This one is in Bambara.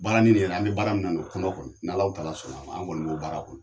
Baarani nin yɛrɛ an bɛ baara min na , o kɔnɔ kɔni n'Alahu Taala sɔnn'a ma, an kɔni b'o baara kɔnɔ.